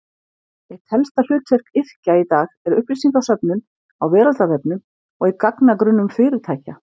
Eitt helsta hlutverk yrkja í dag er upplýsingasöfnun á veraldarvefnum og í gagnagrunnum fyrirtækja.